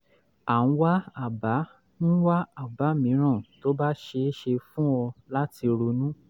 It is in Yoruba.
a ń wá àbá ń wá àbá mìíràn tó bá ṣeé ṣe fún ọ láti ronú